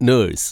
nurse